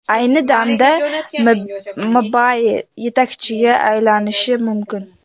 Ayni damda Mbappe yetakchiga aylanishi mumkin.